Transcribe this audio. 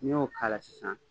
Ni y'o k'ala sisan